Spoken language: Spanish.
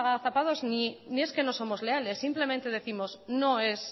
agazapados ni es que no somos leales simplemente décimos no es